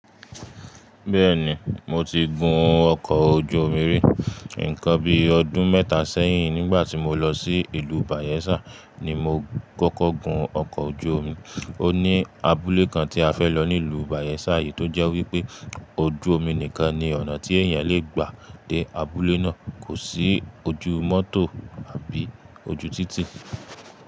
Bẹ́ẹ̀ni, mo ti gun ọkọ̀ ojú omi rí. Nǹkan bí i ọdún mẹ́ta sẹ́yìn nígbà tí mo lọ sí ìlú Bayelsa ni mo kọ́kọ́ gun ọkọ̀ ojú omi. Ó ní abúlé kan tí a fẹ́ lọ nílùú Bayelsa eyìí tó jẹ́ wípé ojú omi nìkan ni ọ̀nà tí èèyàn lè gbà dé abúlé náà. Kò sí ojú mọ́tò àbí ojú títì.